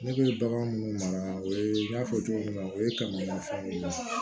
Ne bɛ bagan minnu mara o ye n y'a fɔ cogo min na o ye kamera fan min na